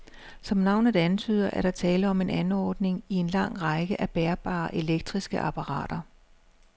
Som navnet antyder, er der tale om en anordning i en lang række af bærbare elektriske apparater.